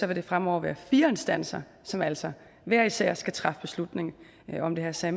det fremover være fire instanser som altså hver især skal træffe beslutning om det her så